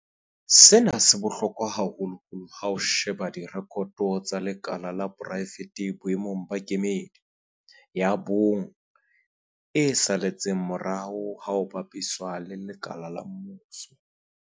Sena se bohlokwa haholoholo ha o sheba direkoto tsa lekala la poraefete boemong ba kemedi ya bong e saletseng morao ha o bapisa le lekala la mmuso.